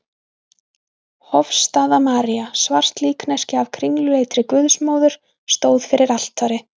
Hofsstaða-María, svart líkneski af kringluleitri Guðsmóður, stóð fyrir altari.